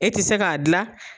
E tɛ se k'a dilan.